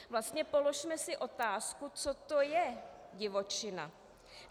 Vlastně položme si otázku, co to je divočina.